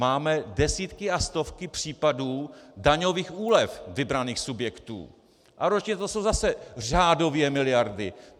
Máme desítky a stovky případů daňových úlev vybraných subjektů a ročně to jsou zase řádově miliardy.